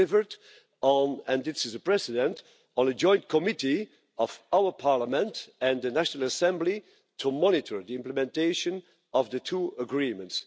They delivered on and this is a precedent a joint committee of our Parliament and the National Assembly to monitor the implementation of the two agreements.